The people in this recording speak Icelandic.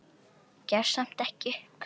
Gefst samt ekki upp.